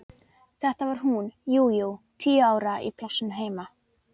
Þetta var hún, jú, jú, tíu ára, í plássinu heima.